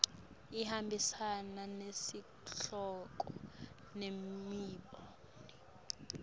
ihambisana nesihloko nemibono